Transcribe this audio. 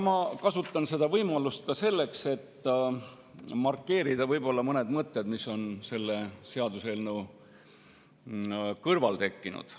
Ma kasutan seda võimalust ka selleks, et markeerida mõned mõtted, mis on selle seaduseelnõu puhul tekkinud.